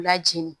Lajini